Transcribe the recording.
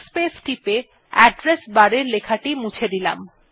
এবার backspace টিপে address bar এর লেখাটি মুছে দিলাম